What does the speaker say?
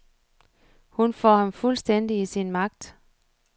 Hun får ham fuldstændig i sin magt.